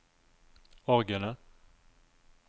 orgelet